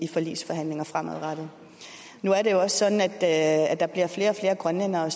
i forligsforhandlinger fremadrettet nu er det jo også sådan at at der bliver flere og flere grønlændere